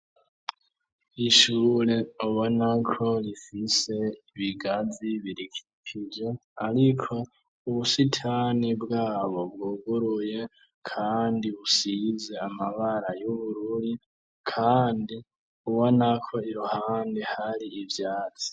Ishure ubonako rifise ibigazi biri hirya ariko ubusitani bwabo bwuguruye kandi busize amabara y'ubururi kandi ubonako iruhande hari ivyatsi.